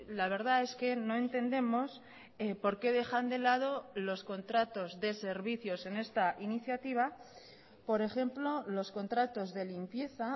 la verdad es que no entendemos por qué dejan de lado los contratos de servicios en esta iniciativa por ejemplo los contratos de limpieza